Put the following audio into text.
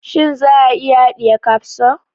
Shin za a iya haɗiye kapso?